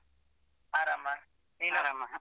ಆರಾಮ. ನೀನ್ ಆರಾಮ?